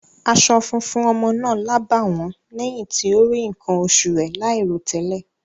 Aṣọ funfun ọmọ náà lábàwọ́n lẹ́yìn tí ó rí nǹkan oṣù rẹ̀ láìròtẹ́lẹ̀.